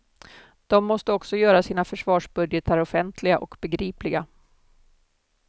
De måste också göra sina försvarsbudgetar offentliga och begripliga.